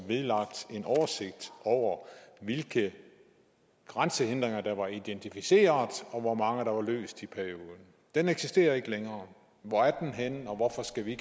vedlagt en oversigt over hvilke grænsehindringer der var identificeret og hvor mange der var løst i perioden den eksisterer ikke længere hvor er den henne og hvorfor skal vi